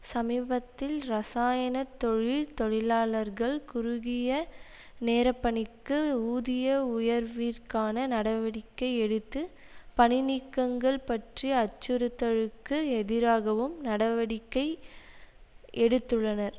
சமீபத்தில் இரசாயன தொழில் தொழிலாளர்கள் குறுகிய நேரப்பணிக்கு ஊதிய உயர்விற்கான நடவடிக்கை எடுத்து பணிநீக்கங்கள் பற்றிய அச்சுறுத்தலுக்கு எதிராகவும் நடவடிக்கை எடுத்துள்ளனர்